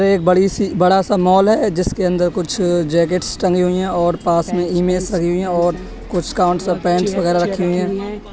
एक बड़ी सी- बड़ा सा मॉल है। जिसके अंदर कुछ जैकेट्स टंगे हुईं हैं और पास में इमेज सजी हुई हैं और कुछ काउन्टस् और पैन्ट्स रखी हुई है।